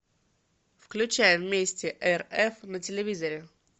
включай вместе рф на телевизоре